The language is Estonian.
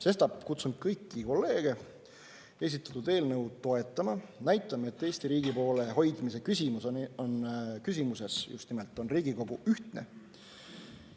Sestap kutsun kõiki kolleege esitatud eelnõu toetama, näitama, et just nimelt Eesti riigi poole hoidmise küsimuses on Riigikogu ühtne.